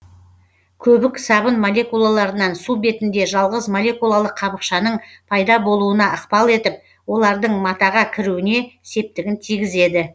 көбік сабын молекулаларынан су бетінде жалғыз молекулалық қабықшаның пайда болуына ықпал етіп олардың матаға кіруіне септігін тигізеді